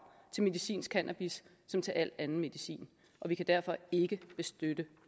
til medicinsk cannabis som til al anden medicin og vi kan derfor ikke støtte